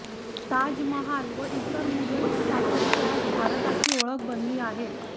ताजमहाल व इतर मुघल स्थापत्ये आज भारताची ओळख बनली आहेत